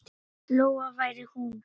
Lóa væri hún.